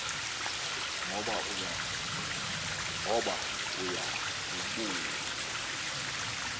ngoba uya kubuya